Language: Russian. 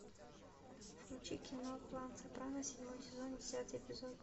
включи кино клан сопрано седьмой сезон десятый эпизод